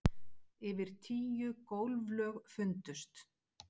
Yfir tíu gólflög fundust